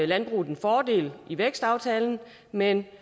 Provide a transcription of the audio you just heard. landbruget en fordel i vækstaftalen men